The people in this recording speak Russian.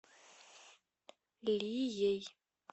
лией